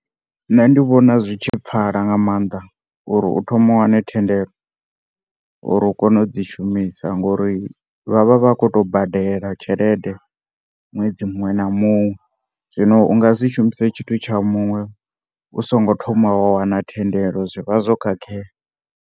Nṋe ndi vhona zwitshi pfala nga maanḓa uri u thome u wane thendelo uri ukone udzi shumisa ngori vha vha vhakhoto badela tshelede nwedzi muṅwe na muṅwe zwino u ngasi shumise tshithu tsha muṅwe u singo thoma wa wana thendelo zwivha zwo khakhea.